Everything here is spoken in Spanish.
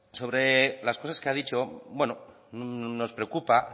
sobre las cosas que ha dicho nos preocupa